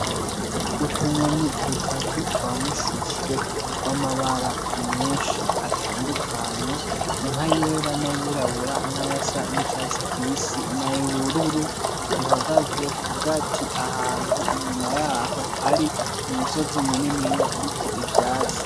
Utunyoni dutatu twamushushwe tw'amabara menshi atandukanye:nkayera, n'ayirabura, nayasa n'icatsi kibisi ,n'ayubururu, duhagaze kugati ahantu inyuma yaho hari umusozi muniniya uriko ivyatsi.